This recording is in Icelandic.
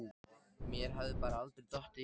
Mér hafði bara aldrei dottið í hug.